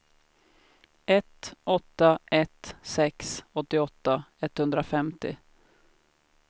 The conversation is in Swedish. ett åtta ett sex åttioåtta etthundrafemtio